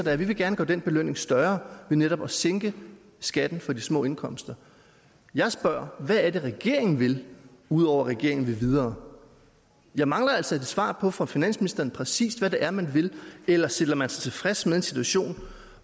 er vi vil gerne gøre den belønning større ved netop at sænke skatten for de små indkomster jeg spørger hvad er det regeringen vil ud over at regeringen vil videre jeg mangler altså et svar fra finansministeren på præcis hvad det er man vil eller stiller man sig tilfreds med en situation